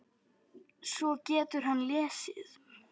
Svo getur hann lesið.